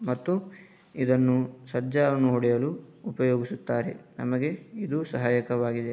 ಮತ್ತು ಇದನ್ನು ಸಜ್ಜ ನೋಡಲು ಅದು ಉಪಯೋಗಿಸುತ್ತಾರೆ ನಮಗೆ ಇದು ಸಹಾಯಕವಾಗಿದೆ.